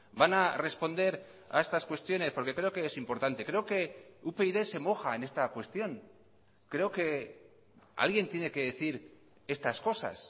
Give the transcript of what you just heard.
van a responder a estas cuestiones porque creo que es importante creo que upyd se moja en esta cuestión creo que alguien tiene que decir estas cosas